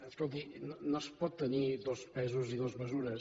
escolti no es pot tenir dos pesos i dues mesures